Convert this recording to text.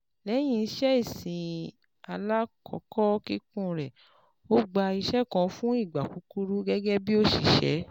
Lẹ́yìn iṣẹ́ ìsìn alákòókò kíkún rẹ̀, ó gba iṣẹ́ kan fún ìgbà kúkúrú gẹ́gẹ́ bí òṣìṣẹ́